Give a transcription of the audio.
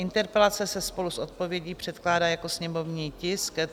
Interpelace se spolu s odpovědí předkládá jako sněmovní tisk 364.